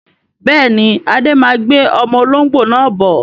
Bẹ́ẹ̀ni, Adé má gbé ọmọ olóngbó náà bọ̀